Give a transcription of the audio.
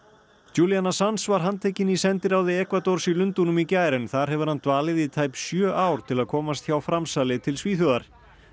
Assange var handtekinn í sendiráði Ekvadors í Lundúnum í gær en þar hefur hann dvalið í tæp sjö ár til að komast hjá framsali til Svíþjóðar